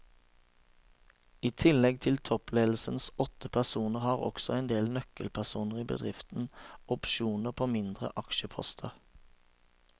I tillegg til toppledelsens åtte personer har også en del nøkkelpersoner i bedriften opsjoner på mindre aksjeposter.